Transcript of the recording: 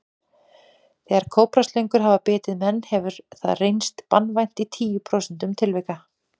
Þegar kóbraslöngur hafa bitið menn hefur hefur það reynst banvænt í tíu prósentum tilvika.